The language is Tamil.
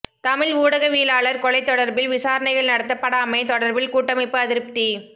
தமிழ் ஊடகவியலாளர் கொலை தொடர்பில் விசாரணைகள் நடத்தப்படாமை தொடர்பில் கூட்டமைப்பு அதிருப்தி